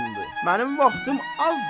Mənim vaxtım azdır.